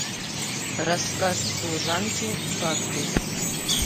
рассказ служанки факты